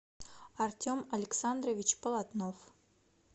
артем александрович полотнов